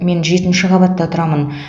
мен жетінші қабатта тұрамын